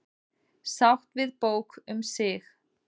Sátt við bók um sig